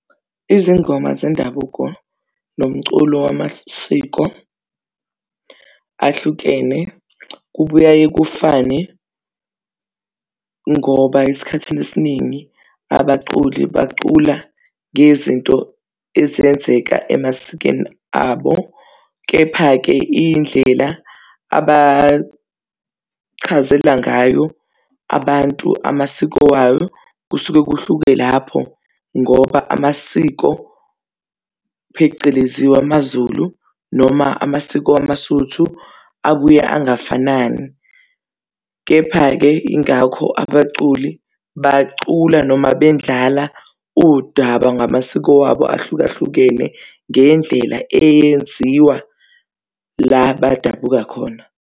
Izingoma zendabuko nomculo wamasiko ahlukene kubuye kufane, ngoba esikhathini esiningi abaculi bacula ngezinto ezenzeka emasikweni abo. Kepha-ke iy'ndlela abachazela ngayo abantu amasiko wabo kusuke kuhluke lapho, ngoba amasiko phecelezi wamazulu noma amasiko wamasuthu abuye angafanani. Kepha-ke ingakho abaculi bacula noma bendlala udaba ngamasiko wabo ahlukahlukene ngendlela eyenziwa lapho badabuka khona.